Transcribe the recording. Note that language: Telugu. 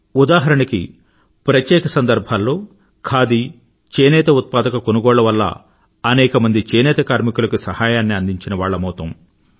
ఉదాహరణకి ప్రత్యేక సందర్భాల్లో ఖాదీ చేనేత ఉత్పాదక కొనుగోళ్ళ వల్ల అనేకమంది చేనేత కర్మికులకి సహాయాన్ని అందించినవాళ్ళమౌతాము